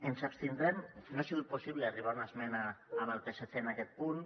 ens abstindrem no ha sigut possible arribar a una esmena amb el psc en aquest punt